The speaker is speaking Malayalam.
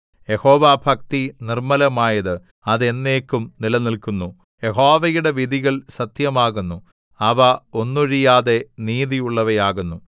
യഹോവാഭക്തി നിർമ്മലമായത് അത് എന്നേക്കും നിലനില്ക്കുന്നു യഹോവയുടെ വിധികൾ സത്യമാകുന്നു അവ ഒന്നൊഴിയാതെ നീതിയുള്ളവയാകുന്നു